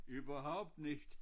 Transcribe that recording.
Überhaupt nicht